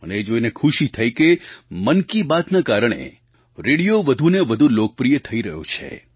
મને એ જોઈને ખુશી થઈ કે મન કી બાતના કારણે રેડિયો વધુ ને વધુ લોકપ્રિય થઈ રહ્યો છે